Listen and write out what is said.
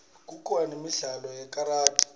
kukhona nemidlalo yekaradi